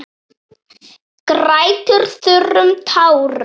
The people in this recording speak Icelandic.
Grætur þurrum tárum.